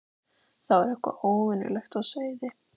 Það var eitthvað óvenjulegt á seyði.